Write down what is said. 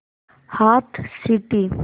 हाथ सीटी